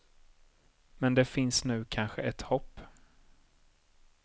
Men det finns nu kanske ett hopp.